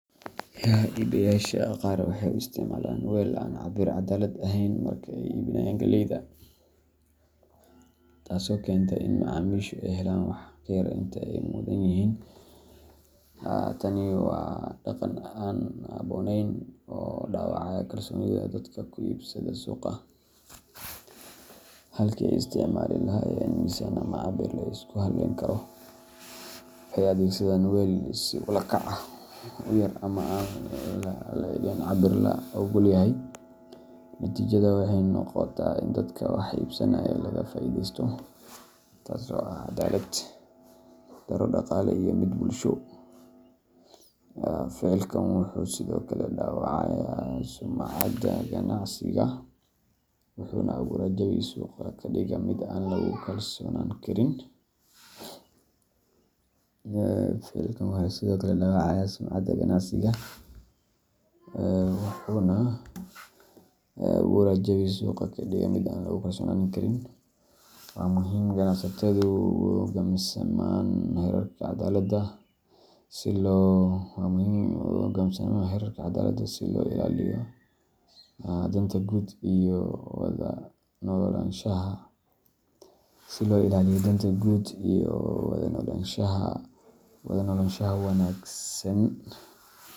Iibiyeyaasha qaar waxay u isticmaalaan weel aan cabir caddaalad ahayn marka ay iibinayaan galleyda, taasoo keenta in macaamiishu ay helaan wax ka yar inta ay mudan yihiin. Tani waa dhaqan aan habboonayn oo dhaawacaya kalsoonida dadka ku iibsada suuqa. Halkii ay isticmaali lahaayeen miisaan ama cabir la isku halleyn karo, waxay adeegsadaan weel si ula kac ah u yar ama aan le'egayn cabirka la oggol yahay. Natiijadu waxay noqotaa in dadka wax iibsanaya laga faa’iidaysto, taasoo ah caddaalad-darro dhaqaale iyo mid bulsho. Ficilkan wuxuu sidoo kale dhaawacayaa sumcadda ganacsiga, wuxuuna abuuraa jawi suuqa ka dhiga mid aan lagu kalsoonaan karin. Waa muhiim in ganacsatadu u hoggaansamaan xeerarka caddaaladda si loo ilaaliyo danta guud iyo wada noolaanshaha wanagsan.